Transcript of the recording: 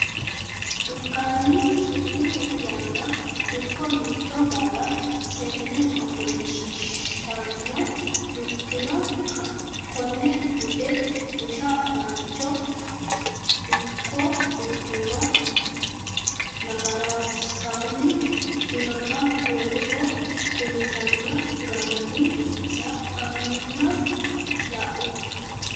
Dukkanni sumuu yeenna Dukko Mitto barra seenne ofoshshiishshanno Dukkanino konne bude busha mancho Dukko Dukkani nafaransaanni ikkinota woleho kultanno garinni sa anna la u.